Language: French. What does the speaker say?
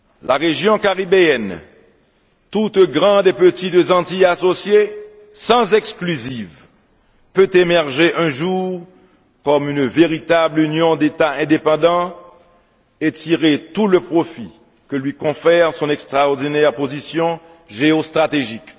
La région caribéenne, toutes grandes et petites Antilles associées, sans exclusive, peut émerger un jour comme une véritable union d'États indépendants et tirer tout le profit que lui confère son extraordinaire position géostratégique.